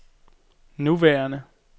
nuværende